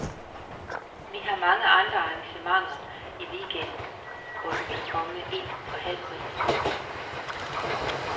Vi har mange andre arrangementer i weekenden, hvor du kan komme ind for halv pris.